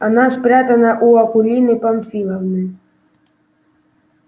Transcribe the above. она спрятана у акулины памфиловны